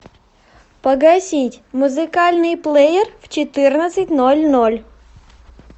погасить музыкальный плеер в четырнадцать ноль ноль